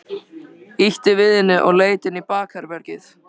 Ýtti við henni og leit inn í bakherbergið.